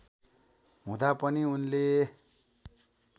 हुँदा पनि उनले